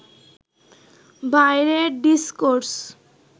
বাইরের ডিসকোর্স